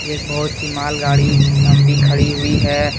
एक बहोत ही मालगाड़ी लंबी खड़ी हुई है ।